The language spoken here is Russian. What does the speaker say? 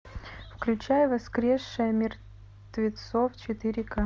включай воскрешая мертвецов четыре ка